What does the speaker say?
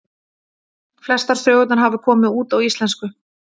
Flestar sögurnar hafa komið út á íslensku.